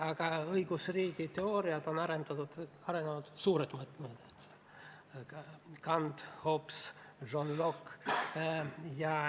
Aga õigusriigi teooriaid on arendanud suured mõtlejad: Kant, Hobbes, John Locke.